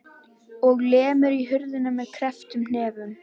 Og lemur í hurðina með krepptum hnefum.